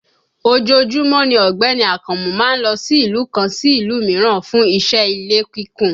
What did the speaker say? Ojoojúmọ́ ni Ọ̀gbẹ́ni Akànmú má ń lo ìlú kan sí ìlú mìíràn fún iṣẹ́ ilé kíkùn